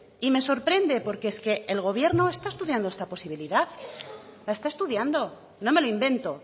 y me sorprende porque es que el gobierno está estudiando esta posibilidad la está estudiando no me lo invento